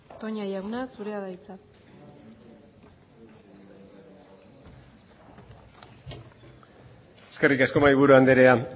toña jauna zurea da hitza eskerrik asko mahaiburu andrea